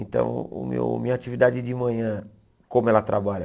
Então, meu minha atividade de manhã, como ela trabalha?